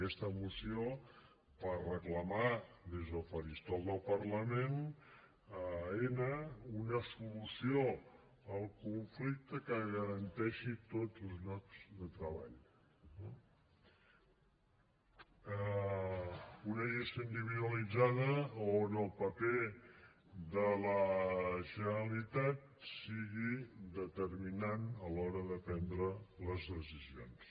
aquesta moció per reclamar des del faristol del parlament a aena una solució al conflicte que garanteixi tots els llocs de treball eh una gestió individualitzada on el paper de la generalitat sigui determinant a l’hora de prendre les decisions